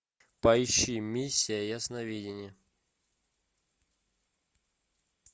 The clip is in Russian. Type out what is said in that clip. пойщи миссия ясновидения